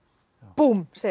búmm segir